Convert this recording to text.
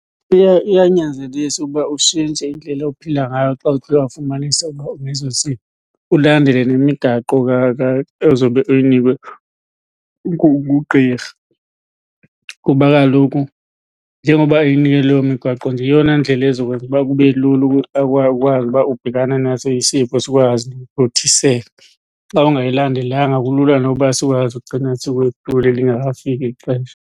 Iyanyanzelisa uba utshintshe indlela ophila ngayo xa uthe wafumanisa ukuba uneso sifo, ulandele nemigaqo ezobe uyinikwe ngugqirha. Kuba kaloku njengoba ekunike leyo migaqo nje yeyona ndlela ezokwenza uba kube lula ukwazi uba ubhekana naso isifo sikwazi uthothiseka. Xa ungayilandelanga kulula noba sikwazi ugcina lingekafiki ixesha.